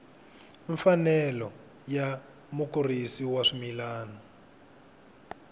mfanelo ya mukurisi wa swimila